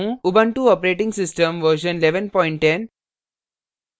Ubuntu operating system version 1110